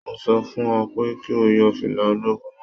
Mo sọ fún ọ pé kí o yọ fìlà ológun náà